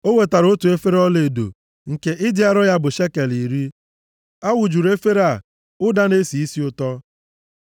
O wetara otu efere ọlaedo, nke ịdị arọ ya bụ shekel iri. A wụjuru efere a ụda na-esi isi ụtọ.